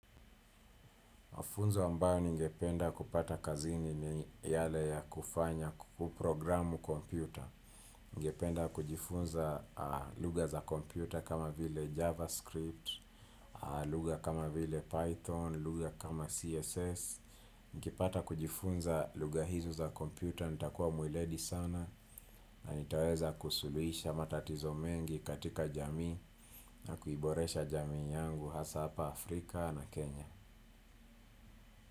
Mafunzo ambayo ningependa kupata kazini ni yale ya kufanya kuprogramu kompyuta. Ningependa kujifunza lugha za kompyuta kama vile javascript, lugha kama vile python, lugha kama css. Nikipata kujifunza lugha hizo za kompyuta, nitakuwa mweledi sana na nitaweza kusuluhisha matatizo mengi katika jamii na kuiboresha jamii yangu hasa hapa Afrika na Kenya.